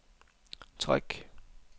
træk